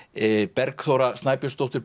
Bergþóra Snæbjörnsdóttir